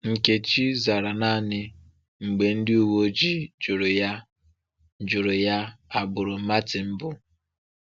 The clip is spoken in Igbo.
Nkechi zara naanị mgbe ndị uwe ojii jụrụ ya jụrụ ya agbụrụ Màrtin bụ.